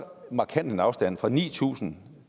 markant afstand som fra ni tusind